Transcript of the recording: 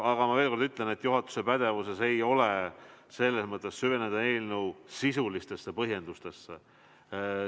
Aga ma veel kord ütlen, et juhatuse pädevuses ei ole süveneda eelnõu sisulistesse põhjendustesse.